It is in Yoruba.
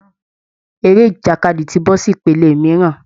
Eré ìjàkadì ti bọ́ sí ìpele mìíràn